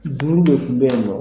su dumuni dɔ tun be yen nɔ